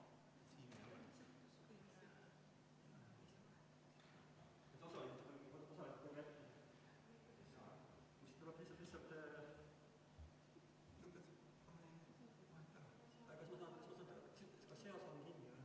Hetkel on ennast kohalolijaks registreerinud 16 inimest ja ei ole tulnud protesti, et ei ole saanud ennast kohalolijaks registreerida, nii et läheme päevakorraga edasi.